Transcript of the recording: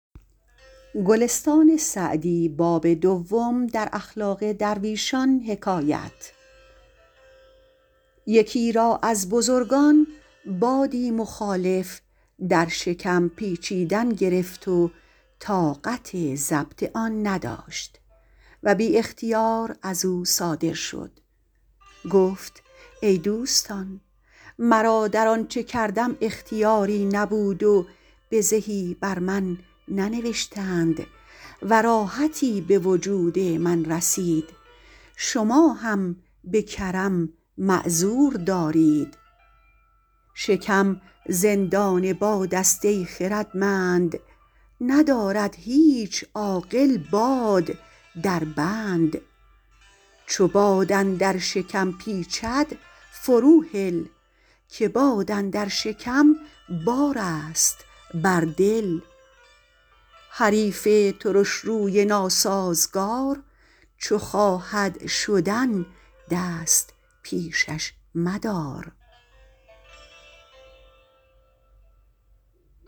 یکی را از بزرگان بادی مخالف در شکم پیچیدن گرفت و طاقت ضبط آن نداشت و بی اختیار از او صادر شد گفت ای دوستان مرا در آنچه کردم اختیاری نبود و بزهی بر من ننوشتند و راحتی به وجود من رسید شما هم به کرم معذور دارید شکم زندان باد است ای خردمند ندارد هیچ عاقل باد در بند چو باد اندر شکم پیچد فرو هل که باد اندر شکم بار است بر دل حریف ترشروی ناسازگار چو خواهد شدن دست پیشش مدار